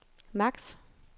max